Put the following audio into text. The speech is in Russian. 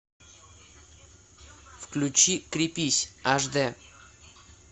включи крепись аш д